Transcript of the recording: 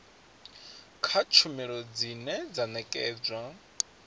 kha tshumelo dzine dza nekedzwa